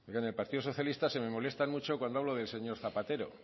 en el partido socialista se me molestan mucho cuando hablo del señor zapatero